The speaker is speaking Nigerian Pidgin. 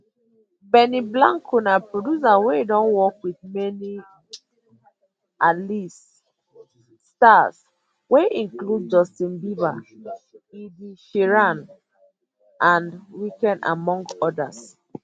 benny blanco na producer wey don work wit many um alist um stars wey include justin bieber ed sheeran the weeknd among odas